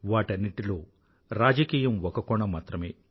వాటన్నింటిలో రాజకీయం ఒక కోణం మాత్రమే